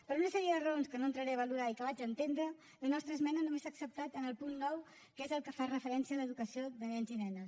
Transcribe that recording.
per una sèrie de raons que no entraré a valorar i que vaig entendre la nostra esmena només s’ha acceptat en el punt nou que és el que fa referència a l’educació de nens i nenes